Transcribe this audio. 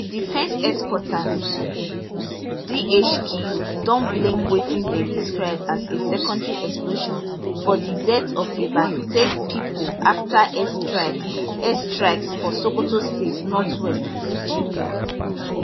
di defence headquarters dhq don blame wetin dem describe as a secondary explosion for dideath of about ten pipoafta airstrikes airstrikes for sokoto state northwest nigeria